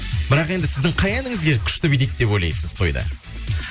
бірақ енді сіздің қай әніңізге күшті билейді деп ойлайсыз тойда